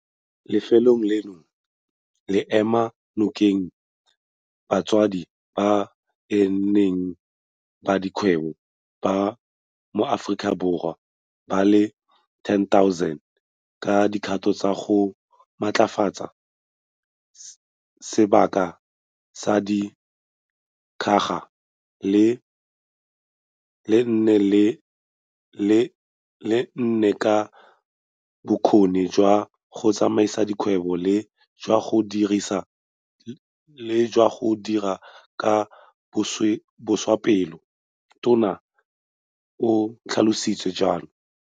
Lefelo leno le ema nokeng basadi ba e leng beng ba dikgwebo ba maAforika Borwa ba le 10 000 ka dikgato tsa go ba matlafatsa sebaka sa di ngwaga di le nne ka bokgoni jwa go tsamaisa dikgwebo le jwa go dira ka botswapelo, Tona o tlhalositse jalo.